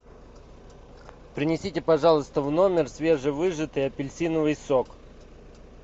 принесите пожалуйста в номер свежевыжатый апельсиновый сок